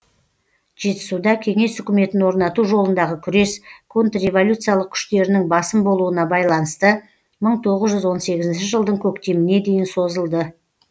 жетісуда кеңес үкіметін орнату жолындағы күрес контрреволюциялық күштерінің басым болуына байланысты мың тоғыз жүз он сегізінші жылдың көктеміне дейін созылды